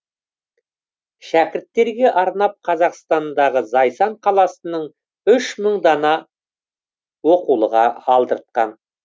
шәкірттерге арнап қазақстандағы зайсан қаласынан үш мың дана оқулаға алдыртқан